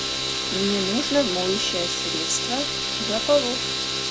мне нужно моющее средство для полов